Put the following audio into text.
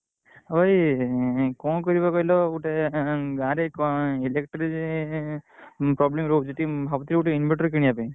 ହଁ ଭାଇ କଣ କରିବା କହିଲ ଗୋଟେ ଗାଁ ରେ electric problem ରହୁଛି ଟିକେ ଭାବୁଥିଲି ଟିକେ ଗୋଟେ inverter କିଣିବା ପାଇଁ।